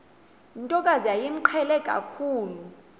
ntokazi yayimqhele kakhulu